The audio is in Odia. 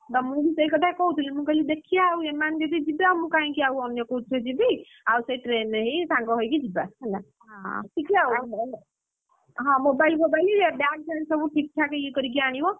ତ ମୁଁ ବି ସେଇ କଥା କହୁଥିଲି ମୁଁ କହିଲି ହଉ ଦେଖିଆ ଆଉ ଏମାନେ ଯଦି ଯିବେ ମୁଁ କାହିଁକି ଆଉ ଅନ୍ୟ କୋଉଥିରେ ଯିବି ଆଉ ସେଇ train ରେ ହେଇ ସାଙ୍ଗ ହେଇକି ଯିବା ହେଲା ହଁ ହଁ mobile ଫୋବାଇଲ bag ଫ୍ୟାଗ୍‌ ସବୁ ଠିକ୍ ଠାକ୍ ଇଏ କରିକି ଆଣିବ।